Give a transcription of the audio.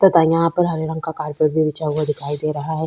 तथा यहाँ पर हरे रंग का कारपेट भी बिछा हुआ दिखाई दे रहा है।